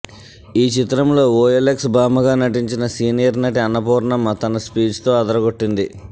ఈ చిత్రంలో ఓఎల్ఎక్స్ బామ్మగా నటించిన సీనియర్ నటి అన్నపూర్ణమ్మ తన స్పీచ్తో అదరగొట్టింది